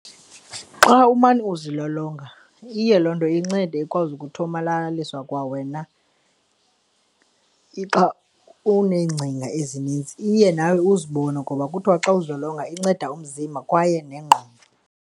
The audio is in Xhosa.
Xa umane uzilolonga, iye loo nto incede ikwazi ukuthomalalisa kwawena. Xa uneengcinga ezininzi, iye nawe uzibone ngoba kuthiwa xa uzilolonga inceda umzimba kwaye nengqondo.